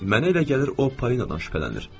Mənə elə gəlir o Polinadan şübhələnir.